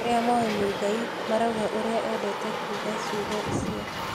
Arĩa moĩ Muigai marauga ũrĩa endete kuga ciugo icio